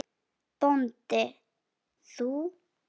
BÓNDI: Þú?